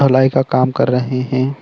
ढलाई का काम कर रहे हैं।